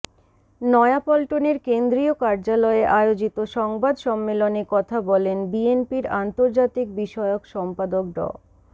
নয়াপল্টনের কেন্দ্রীয় কার্যালয়ে আয়োজিত সংবাদ সম্মেলনে কথা বলেন বিএনপির আন্তর্জাতিক বিষয়ক সম্পাদক ড